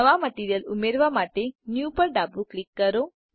નવા મટીરીયલ ઉમેરવા માટે ન્યૂ પર ડાબું ક્લિક કરો